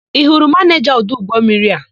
Ị hụrụ manịja ọdụ ụgbọmmiri a?